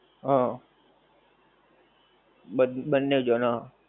હા બ બન્ને જાણ